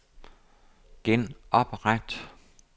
genopret